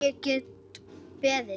Heyrðu, ég get ekki beðið.